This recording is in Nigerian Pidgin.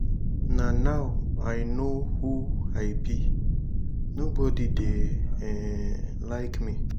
na now i no who i be nobody dey um like me.